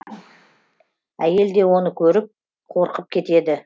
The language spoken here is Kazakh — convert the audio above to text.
әйел де оны көріп қорқып кетеді